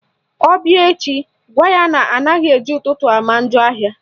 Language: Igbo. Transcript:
Ọ bịa echi, gwa ya na anaghị eji ụtụtụ ama njọ ahịa